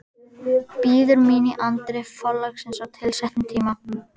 Bíður mín í anddyri forlagsins á tilsettum tíma.